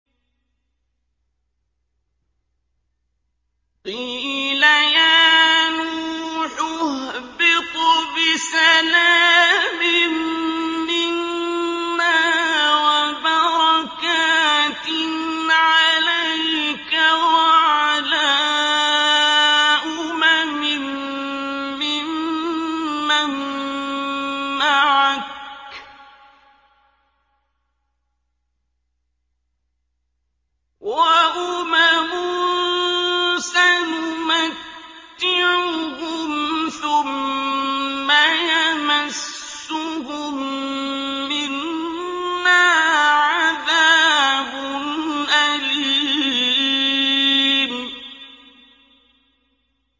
قِيلَ يَا نُوحُ اهْبِطْ بِسَلَامٍ مِّنَّا وَبَرَكَاتٍ عَلَيْكَ وَعَلَىٰ أُمَمٍ مِّمَّن مَّعَكَ ۚ وَأُمَمٌ سَنُمَتِّعُهُمْ ثُمَّ يَمَسُّهُم مِّنَّا عَذَابٌ أَلِيمٌ